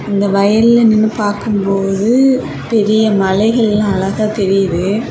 இந்த வயல்ல நின்னு பார்க்கும்போது பெரிய மலைகள் எல்லா அழகா தெரியுது.